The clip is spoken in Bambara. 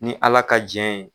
Ni ala ka Jɛ ye.